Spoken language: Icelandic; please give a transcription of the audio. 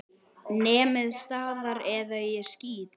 Nemið staðar eða ég skýt!